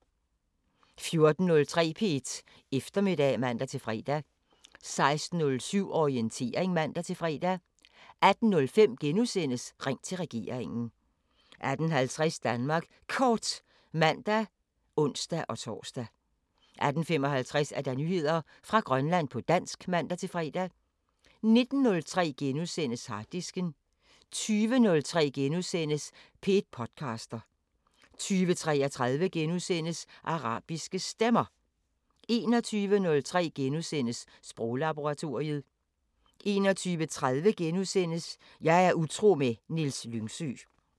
14:03: P1 Eftermiddag (man-fre) 16:07: Orientering (man-fre) 18:05: Ring til regeringen * 18:50: Danmark Kort (man og ons-tor) 18:55: Nyheder fra Grønland på dansk (man-fre) 19:03: Harddisken * 20:03: P1 podcaster * 20:33: Arabiske Stemmer * 21:03: Sproglaboratoriet * 21:30: Jeg er utro med Niels Lyngsø *